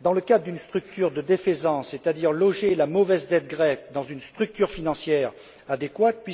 dans le cadre d'une structure de défaisance, loger la mauvaise dette grecque dans une structure financière adéquate.